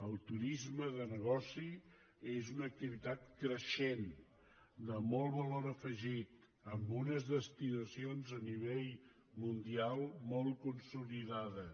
el turisme de negoci és una activitat creixent de molt valor afegit amb unes destinacions a nivell mundial molt consolidades